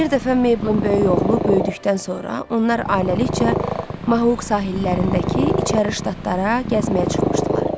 Bir dəfə Mabelin böyük oğlu böyüdükdən sonra onlar ailəlikcə Mahuq sahillərindəki içəri ştatlara gəzməyə çıxmışdılar.